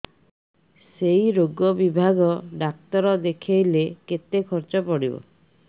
ସେଇ ରୋଗ ବିଭାଗ ଡ଼ାକ୍ତର ଦେଖେଇଲେ କେତେ ଖର୍ଚ୍ଚ ପଡିବ